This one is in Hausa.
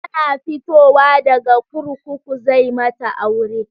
Tana fitowa daga kurkuku zai mata aure